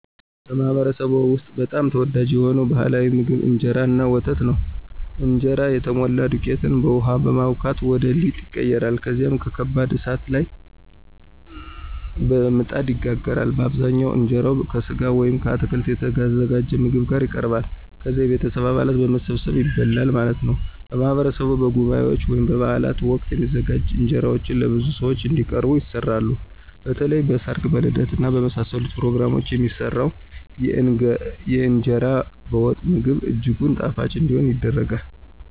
በማኅበረሰብዎ ውስጥ በጣም ተወዳጅ የሆነው ባሕላዊ ምግብ እንጀራ እና ወተት ነው። እንጀራ የተሞላ ዱቄትን በውሃ በማቡካት ወደ ሊጥ ይቀየራል። ከዚያም በከባድ እሳት ላይ በምጣድ ይጋገራል። በአብዛኛው እንጀራው ከሥጋ ወይም ከአትክልት የተዘጋጀ ምግብ ጋር ይቀርባል። ከዛ የቤተሰብ አባላት በመሰባሰብ ይበላል ማለት ነው። በማህበረሰብ በጉባኤዎች ወይም በበዓላት ወቅት የሚዘጋጁ እንጀራዎች ለብዙ ሰዎች እንዲቀርቡ ይሰራሉ። በተለይም በ ሰርግ ,በልደት እና በመሳሰሉት ፕሮግራሞች የሚሰራው የእንገራ በወጥ ምግብ እጅጉን ጣፋጭ እንዲሆን ይደረጋል።